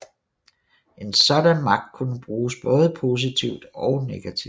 En sådan magt kunne bruges både positivt og negativt